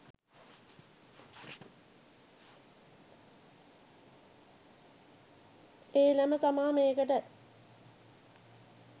එළම තමා මේකට